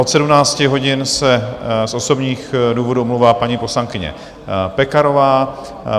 Od 17 hodin se z osobních důvodů omlouvá paní poslankyně Pekarová.